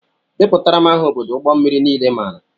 Deputara m aha odo ụgbọ mmiri niile i maara!!!